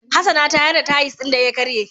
Hassana ta yar da tayis din da ya ƙarye